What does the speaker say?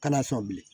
Kana sɔn bilen